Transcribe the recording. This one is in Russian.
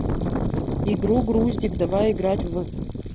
игру груздик давай играть в